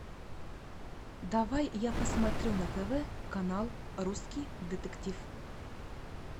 давай я посмотрю на тв канал русский детектив